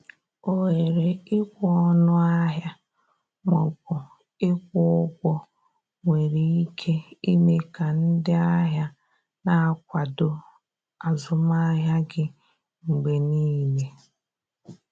ohere ikwe ọnụ ahịa ma ọ bụ ịkwụ ụgwọ nwere ike ime ka ndị ahịa na-akwado azụmahịa gị mgbe niile.